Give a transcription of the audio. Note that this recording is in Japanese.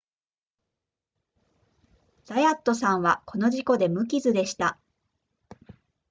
ザヤットさんはこの事故で無傷でした